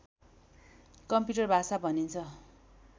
computer भाषा भनिन्छ